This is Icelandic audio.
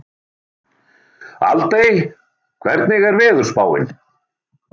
Aldey, hvernig er veðurspáin?